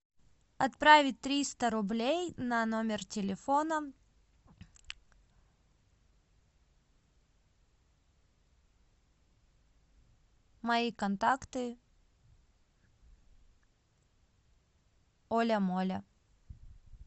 отправить триста рублей на номер телефона мои контакты оля моля